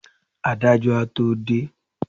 adájọ a to dé